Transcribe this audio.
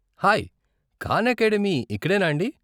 Hi, Khan Academy ఇక్కడేనా అండీ?